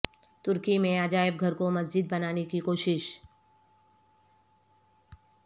ترکی میں عجائب گھر کو مسجد بنانے کی کوشش